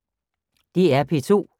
DR P2